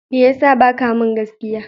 Me ya sa ba ka min gaskiya?